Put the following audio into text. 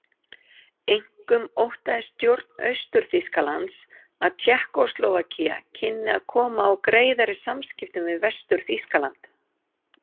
Einkum óttaðist stjórn Austur-Þýskalands að Tékkóslóvakía kynni að koma á greiðari samskiptum við Vestur-Þýskaland.